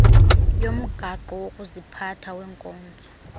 yomgaqo wokuziphatha wenkonzo